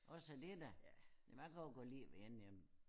Også det da men jeg kan også godt lide at være alene hjemme